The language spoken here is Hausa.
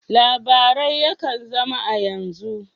Labarai yakan zama a yanzu.